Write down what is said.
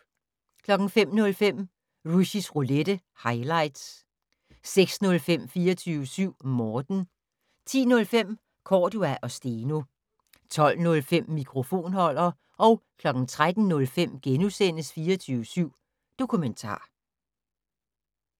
05:05: Rushys Roulette - highlights 06:05: 24syv Morten 10:05: Cordua & Steno 12:05: Mikrofonholder 13:05: 24syv Dokumentar *